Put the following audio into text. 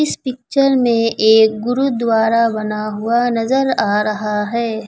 इस पिक्चर में एक गुरुद्वारा बना हुआ नजर आ रहा है।